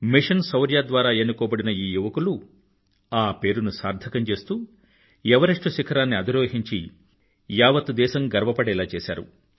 machine Shaurya ద్వారా ఎన్నుకోబడిన ఈ యువకులు ఆ పేరుని సార్థకం చేస్తూ ఎవరెస్టు శిఖరాన్ని అధిరోహించి యావత్ దేశం గర్వపడేలా చేసారు